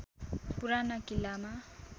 पुराना किल्लामा